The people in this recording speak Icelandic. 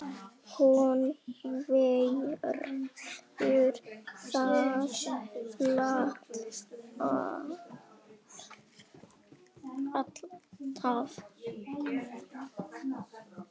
Hún verður það alltaf